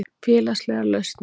Félagslegar lausnir